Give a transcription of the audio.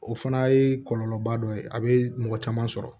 O fana ye kɔlɔlɔba dɔ ye a bɛ mɔgɔ caman sɔrɔ